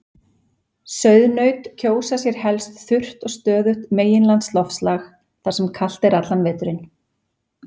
Sauðnaut kjósa sér helst þurrt og stöðugt meginlandsloftslag þar sem kalt er allan veturinn.